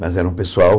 Mas era um pessoal.